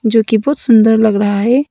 जो कि बहुत सुंदर लग रहा है।